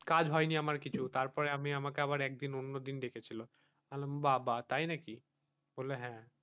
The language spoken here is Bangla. কাজ হয়নি আমার কিছু তারপরে আমি আমার আমাকে আবার একদিন অন্যদিন ডেকেছিল আহ বাবা তাই নাকি বলল হ্যাঁ,